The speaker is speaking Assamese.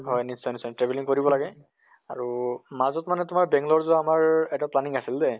হয় নিশ্চয় নিশ্চয়। travelling কৰিব লাগে। আৰু মাজত মানে তোমাৰ বেংলৰ যোৱা আমাৰ এটা planning আছিল দে